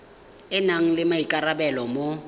a nang le maikarabelo mo